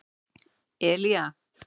Elía